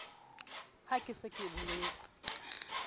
ha ke se ke boletse